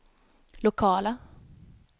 lokala